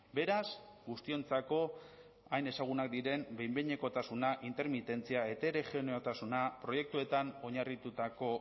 beraz guztiontzako hain ezagunak diren behin behinekotasuna intermitentzia heterogeneotasuna proiektuetan oinarritutako